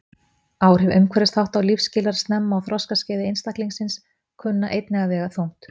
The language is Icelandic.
Áhrif umhverfisþátta og lífsskilyrða snemma á þroskaskeiði einstaklingsins kunna einnig að vega þungt.